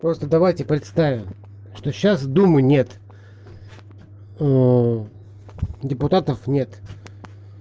просто давайте представим что сейчас думы нет депутатов нет